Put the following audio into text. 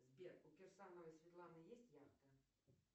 сбер у кирсановой светланы есть яхта